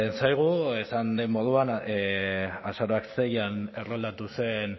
zaigu esan den moduan azaroak seian erroldatu zen